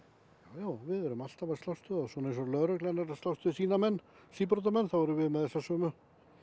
já við erum alltaf að slást við þá svona eins og lögreglan er að slást við sína menn síbrotamenn þá erum við með þessa sömu